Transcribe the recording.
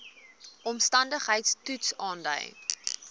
omstandigheids toets aandui